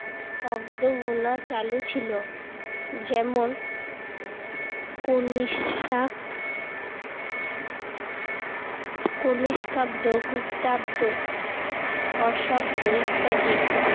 অব্দ গোনা চালু ছিল। যেমন কণিষ্কাব্দ, গুপ্তাব্দ, হর্ষাব্দ ইত্যাদি।